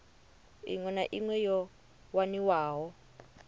iṅwe na iṅwe yo waniwaho